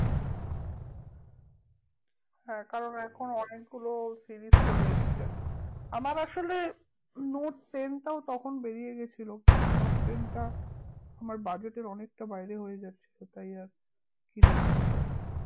হ্যাঁ কারণ এখন অনেকগুলো series চলে এসছে আমার আসলে নোট টেন টাও তখন বেরিয়ে গেছিলো নোট টেন টা আমার budget এর হয়ে যাচ্ছিলো তাই আর কিনে উঠতে পারিনি